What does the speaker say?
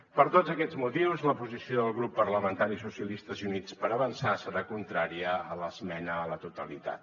per tots aquests motius la posició del grup parlamentari socialistes i units per avançar serà contrària a l’esmena a la totalitat